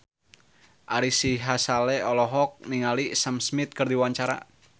Ari Sihasale olohok ningali Sam Smith keur diwawancara